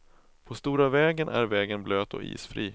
På stora vägen är vägen blöt och isfri.